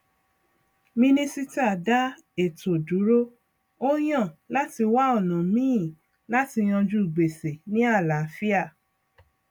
kí o tó ná náírà kan ṣe àlàkalẹ um èròǹgbà tí ó gbọdọ wá sí ìmúṣẹ um